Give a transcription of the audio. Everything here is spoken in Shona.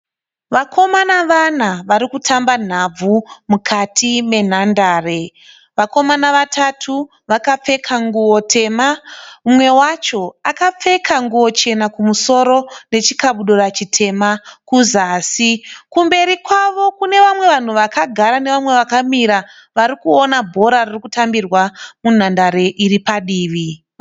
Vakomana vana vari kutamba nhabvu mukati menhandare. Vakomana vatatu vakapfeka nguvo tema, umwe wacho akapfeka nguvo chema kumusoro nechikabudura chitema kuzasi. Kumberi kwavo kune vamwe vanhu vakagara nevamwe vakamira vari kuona bhora ririkutambirwa munhandare iri padivi.